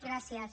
gràcies